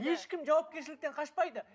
ешкім жауапкершіліктен қашпайды